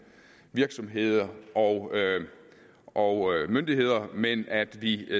virksomheder og og myndigheder men at vi